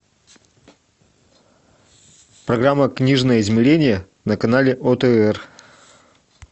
программа книжное измерение на канале отр